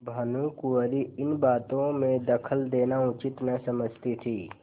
भानुकुँवरि इन बातों में दखल देना उचित न समझती थी